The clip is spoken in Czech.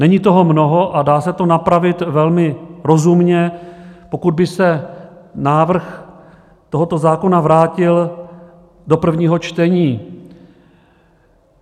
Není toho mnoho a dá se to napravit velmi rozumně, pokud by se návrh tohoto zákona vrátil do prvního čtení.